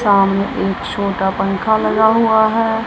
सामने एक छोटा पंखा लगा हुआ है।